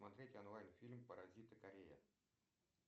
смотреть онлайн фильм паразиты корея